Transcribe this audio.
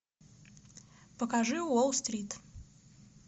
покажи уолл стрит